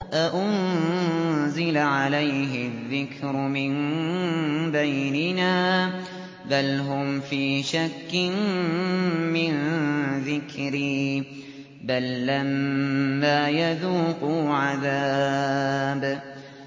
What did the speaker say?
أَأُنزِلَ عَلَيْهِ الذِّكْرُ مِن بَيْنِنَا ۚ بَلْ هُمْ فِي شَكٍّ مِّن ذِكْرِي ۖ بَل لَّمَّا يَذُوقُوا عَذَابِ